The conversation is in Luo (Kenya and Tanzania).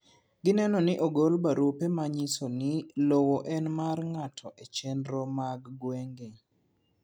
Gineno ni ogol barupe manyisoni lowo en mar ngato echenro mag gwenge.